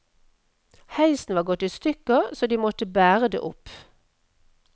Heisen var gått i stykker så de måtte bære det opp.